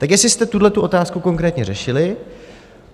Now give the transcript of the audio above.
Tak jestli jste tuhle otázku konkrétně řešili?